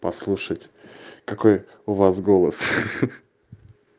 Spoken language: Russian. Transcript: послушать какой у вас голос